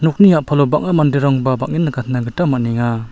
okni a·palo bang·a manderangba bang·en nikatna gita man·enga.